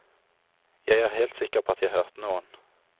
Jeg er helt sikker på at jeg hørte noen.